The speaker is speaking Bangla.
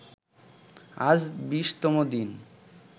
আজ ২০তম দিন